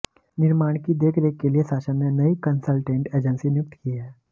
निर्माण की देखरेख के लिए शासन ने नई कंसल्टेंट एजेंसी नियुक्त की है